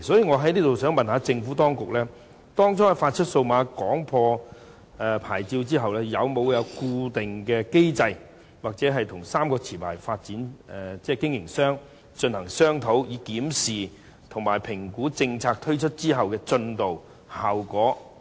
我想問局長，當局當初發出數碼廣播牌照後，有否設立固定機制或與3間持牌營辦商進行商討，以檢視及評估政策推出後的進度和效果？